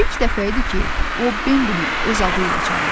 İlk dəfə idi ki, o Bembini öz adı ilə çağırdı.